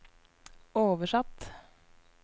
oversatt